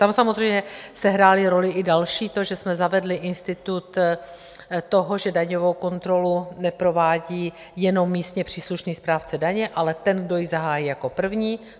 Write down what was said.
Tam samozřejmě sehrálo roli i další - to, že jsme zavedli institut toho, že daňovou kontrolu neprovádí jenom místně příslušný správce daně, ale ten, kdo ji zahájí jako první.